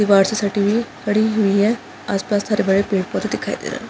दिवार से सटी हुई है पड़ी हुई है आसपास हरे-भरे पेड़-पौधे दिखाई दे रहे है।